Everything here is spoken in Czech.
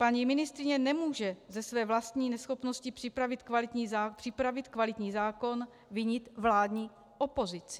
Paní ministryně nemůže ze své vlastní neschopnosti připravit kvalitní zákon vinit vládní opozici.